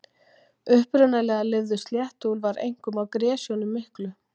Upprunalega lifðu sléttuúlfar einkum á gresjunum miklu.